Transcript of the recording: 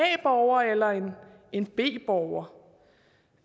borger eller b borger